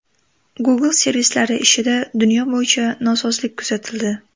Google servislari ishida dunyo bo‘yicha nosozlik kuzatildi.